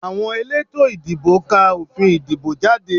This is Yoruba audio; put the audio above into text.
Àwọn elétò ìdìbò ká òfin ìdìbò jáde